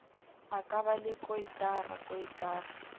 ka ba le koitara koitara